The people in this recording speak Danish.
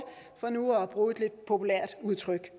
for nu at bruge et lidt populært udtryk